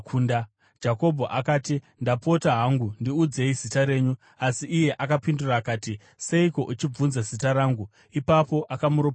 Jakobho akati, “Ndapota hangu, ndiudzei zita renyu.” Asi iye akapindura akati, “Seiko uchibvunza zita rangu?” Ipapo akamuropafadza.